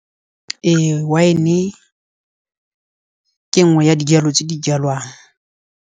Ee, wine-e ke nngwe ya dijalo tse di jalwang.